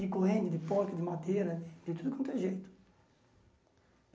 De corrente, de pó, de madeira, de tudo quanto é jeito.